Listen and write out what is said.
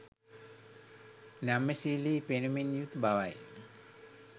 නම්‍යශීලී පෙනුමින් යුතු බවයි